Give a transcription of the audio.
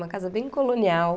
Uma casa bem colonial.